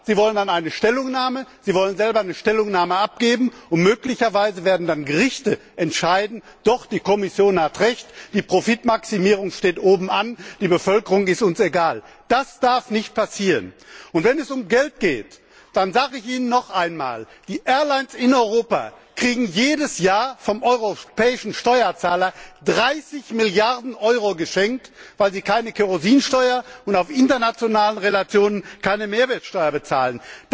Aber Sie wollen dann eine Stellungnahme, Sie wollen selber eine Stellungnahme abgeben, und möglicherweise werden dann Gerichte entscheiden Doch, die Kommission hat Recht, die Profitmaximierung steht oben an, die Bevölkerung ist uns egal. Das darf nicht passieren, und wenn es um Geld geht, dann sage ich Ihnen noch einmal Die Fluggesellschaften in Europa kriegen jedes Jahr vom europäischen Steuerzahler 30 Milliarden Euro geschenkt, weil sie keine Kerosinsteuer und auf internationalen Relationen keine Mehrwertsteuer bezahlen.